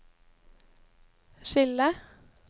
skille